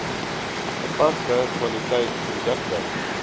gepaste kwaliteit produkte